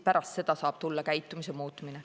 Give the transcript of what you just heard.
Pärast seda saab tulla käitumise muutumine.